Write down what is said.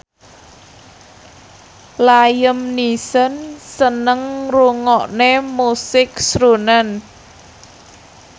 Liam Neeson seneng ngrungokne musik srunen